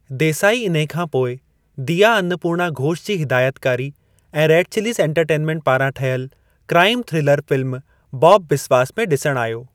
देसाई इन्हे खां पोइ दीया अन्नपूर्णा घोष जी हिदायतकारी ऐं रेड चिलीज एंटरटेनमेंट पारां ठहियलु crime thriller film Bob Biswas में ॾिसणु आयो।